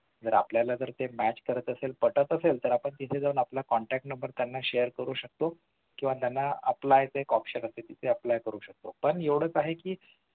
जर आपल्याला जर ते match करत असेल तर आपण तिथे जावून आपल contact number share करू शकतो किंवा त्यांना apply option असते तिथे apply करू शकतो पण एवढ काय आहे कि